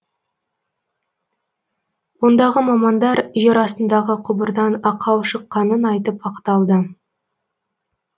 ондағы мамандар жер астындағы құбырдан ақау шыққанын айтып ақталды